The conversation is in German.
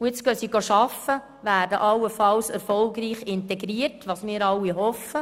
Jetzt gehen die Leute zur Arbeit und werden allenfalls erfolgreich integriert, was wir alle hoffen.